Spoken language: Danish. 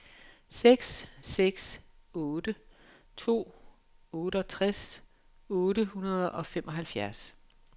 seks seks otte to otteogtres otte hundrede og femoghalvtreds